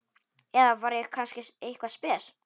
Eða var ég kannski eitthvað spes?